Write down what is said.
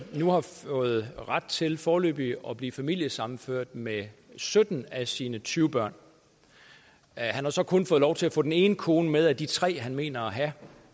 nu har fået ret til foreløbig at blive familiesammenført med sytten af sine tyve børn han har så kun fået lov til at få den ene kone med af de tre han mener at have